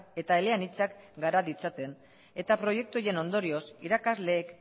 eta eleanitzak gara ditzaten eta proiektu horien ondorioz irakasleek